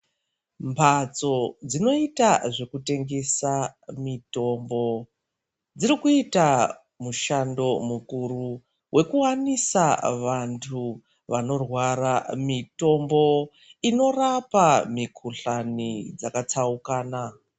Mbatso dzinoita zvekutengesa mitombo dziri kuita mushando mukuru wekuwanisa vantu vanorwara mitombo inorapa mikuhlani dzakatsaukana.